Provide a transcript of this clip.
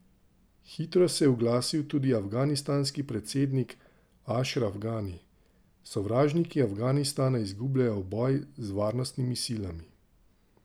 Hitro se je oglasil tudi afganistanski predsednik Ašraf Gani: 'Sovražniki Afganistana izgubljajo boj z varnostnimi silami.